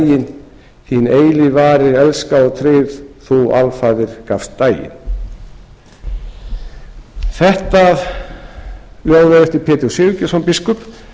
þín eilífð varir elska og tryggð þú alfarið gafst daginn þetta ljóð er eftir pétur sigurgeirsson biskup